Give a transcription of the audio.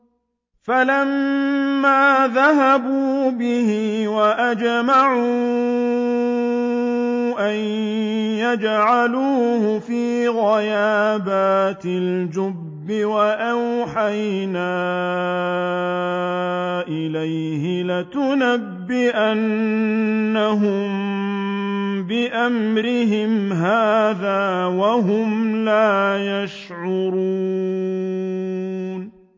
فَلَمَّا ذَهَبُوا بِهِ وَأَجْمَعُوا أَن يَجْعَلُوهُ فِي غَيَابَتِ الْجُبِّ ۚ وَأَوْحَيْنَا إِلَيْهِ لَتُنَبِّئَنَّهُم بِأَمْرِهِمْ هَٰذَا وَهُمْ لَا يَشْعُرُونَ